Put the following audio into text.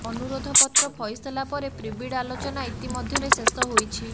ଅନୁରୋଧପତ୍ର ଫଇସଲା ପରେ ପ୍ରିବିଡ୍ ଆଲୋଚନା ଇତିମଧ୍ୟରେ ଶେଷ ହୋଇଛି